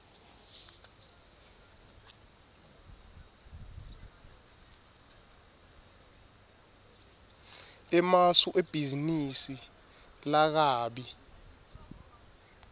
emasu ebhizinisi lakabi